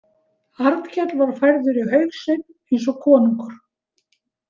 Arnkell var færður í haug sinn eins og konungur.